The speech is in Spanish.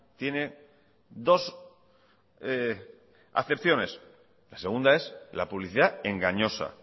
tiene dos acepciones la segunda es la publicidad engañosa